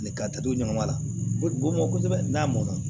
ka to ɲama la ko dugu mɔ kosɛbɛ n'a mɔn na